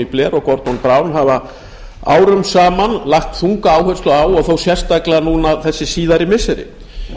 gordon brown hafa árum saman lagt þunga áherslu á og þó sérstaklega nú hin síðari missiri